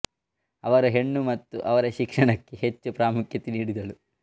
ಅವರು ಹೆಣ್ಣು ಮತ್ತು ಅವರ ಶಿಕ್ಷಣಕ್ಕೆ ಹೆಚ್ಚು ಪ್ರಮುಖ್ಯತೆ ನೀಡಿದಳು